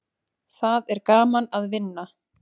Það er gaman að vinna.